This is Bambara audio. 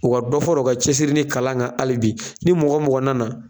U ka dɔ fara u ka cɛsiri ni kalan kan hali bi ni mɔgɔ o mɔgɔ nana